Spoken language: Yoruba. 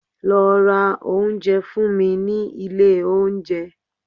Lọ ra oúnjẹ fún mi ní ilé oúnjẹ